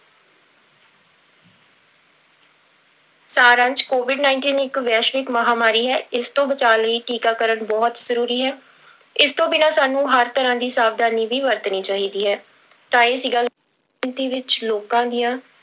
ਸਾਰ ਅੰਸ਼ covid nineteen ਇੱਕ ਵੈਸ਼ਵਿਕ ਮਹਾਂਮਾਰੀ ਹੈ, ਇਸ ਤੋਂ ਬਚਾਅ ਲਈ ਟੀਕਾਕਰਨ ਬਹੁਤ ਜ਼ਰੂਰੀ ਹੈ, ਇਸ ਤੋਂ ਬਿਨਾਂ ਸਾਨੂੰ ਹਰ ਤਰ੍ਹਾਂ ਦੀ ਸਾਵਧਾਨੀ ਵੀ ਵਰਤਣੀ ਚਾਹੀਦੀ ਹੈ, ਤਾਂ ਇਹ ਸੀਗਾ ਗਿਣਤੀ ਵਿੱਚ ਲੋਕਾਂ ਦੀਆਂ